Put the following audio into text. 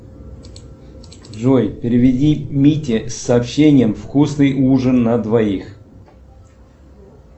джой переведи мите с сообщением вкусный ужин на двоих